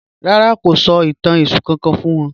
Rárá, kò sọ̀ itàn Èṣù kankan fún wọn